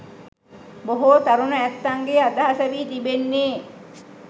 බොහෝ තරුණ ඇත්තන්ගේ අදහස වී තිබෙන්නේ